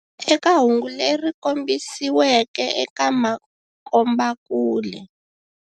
Eka hungu leri kombisiweke eka makombakule.